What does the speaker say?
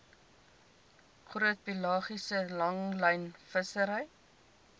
groot pelagiese langlynvissery